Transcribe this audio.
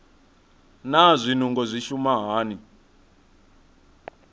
naa zwinungo zwi shuma hani